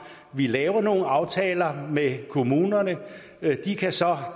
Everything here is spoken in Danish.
vi laver nogle aftaler med kommunerne de kan så